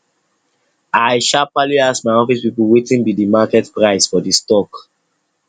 i sharparly ask my office people wetin be the market price for the stock